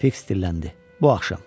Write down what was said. Fiks dilləndi: Bu axşam.